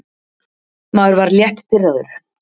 Maður var létt pirraður.